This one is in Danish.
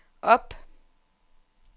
op